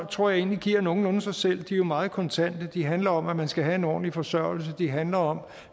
tror jeg egentlig giver nogenlunde sig selv de er jo meget kontante de handler om at man skal have en ordentlig forsørgelse de handler om